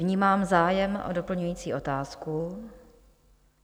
Vnímám zájem o doplňující otázku.